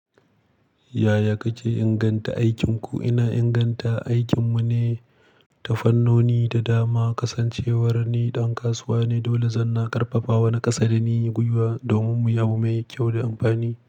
Yaya kake inganta aikin ku? Ina inganta aikin mu ne, tafarnoni da dama, kasancewar ni ɗan kasuwa ne dole zan na karfafa wani ƙasa da ni yi gwiwa domin mu yadu mai kyau da amfani.